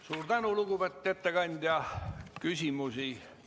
Suur tänu, lugupeetud ettekandja!